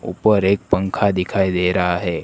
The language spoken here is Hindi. ऊपर एक पंखा दिखाई दे रहा हैं।